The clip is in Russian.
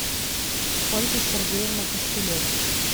ольга сергеевна костылева